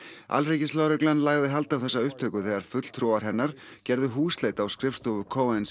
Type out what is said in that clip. alríkislögreglan lagði hald á þessa upptöku þegar fulltrúar hennar gerðu húsleit á skrifstofu